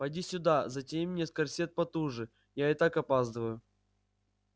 поди сюда затяни мне корсет потуже я и так опаздываю